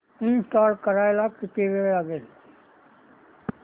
install करायला किती वेळ लागेल